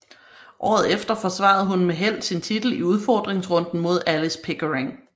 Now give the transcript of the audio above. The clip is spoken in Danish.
Året efter forsvarede hun med held sin titel i udfordringsrunden mod Alice Pickering